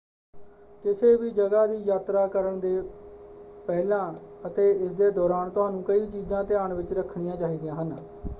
ਕਿਸੇ ਵੀ ਜਗ੍ਹਾ ਦੀ ਯਾਤਰਾ ਕਰਨ ਦੇ ਪਹਿਲਾਂ ਅਤੇ ਇਸਦੇ ਦੌਰਾਨ ਤੁਹਾਨੂੰ ਕਈ ਚੀਜ਼ਾਂ ਧਿਆਨ ਵਿੱਚ ਰੱਖਣੀਆਂ ਚਾਹੀਦੀਆਂ ਹਨ।